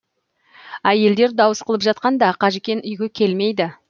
әйелдер дауыс қылып жатқанда қажікен үйге келмейді